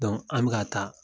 Dɔnku an bɛ ka taa